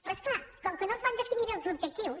però és clar com que no es van definir bé els objectius